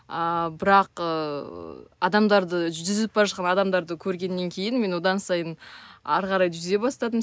ааа бірақ ыыы адамдарды жүзіп бара жатқан адамдарды көргеннен кейін мен одан сайын әрі қарай жүзе бастадым